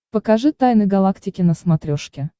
покажи тайны галактики на смотрешке